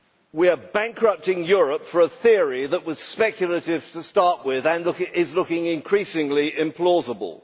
We are bankrupting Europe for a theory that was speculative to start with and is looking increasingly implausible.